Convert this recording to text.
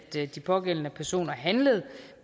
de pågældende personer handlede